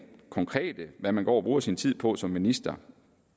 konkrete som man går og bruger sin tid på som minister